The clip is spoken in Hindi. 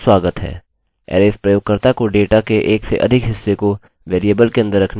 अरैज़ प्रयोगकर्ता को डेटा के एक से अधिक हिस्से को वेरिएबल के अन्दर रखने की अनुमति देता है